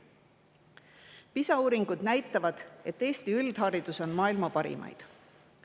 PISA uuringud näitavad, et Eesti üldharidus on maailma parimaid.